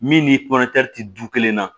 Min ni ti du kelen na